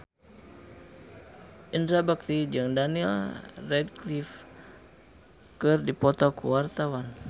Indra Bekti jeung Daniel Radcliffe keur dipoto ku wartawan